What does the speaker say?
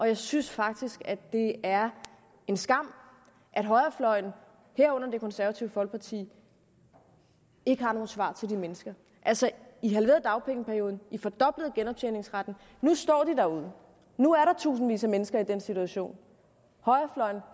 jeg synes faktisk det er en skam at højrefløjen herunder det konservative folkeparti ikke har nogen svar til de mennesker altså i halverede dagpengeperioden i fordoblede genoptjeningsretten og nu står de derude nu er der tusindvis af mennesker i den situation højrefløjen